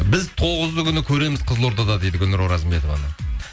біз тоғызы күні көреміз қызылордада дейді гүлнұр оразымбетованы